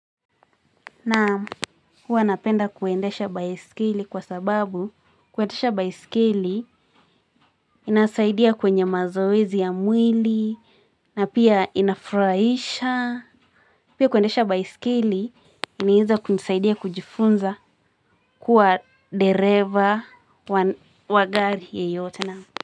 Naam, huwa napenda kuendesha baiskeli kwa sababu kuendesha baiskeli inasaidia kwenye mazoezi ya mwili na pia inafurahisha. Pia kuendesha baiskeli inaeza kunisaidia kujifunza kuwa dereva wa gari yeyote naam.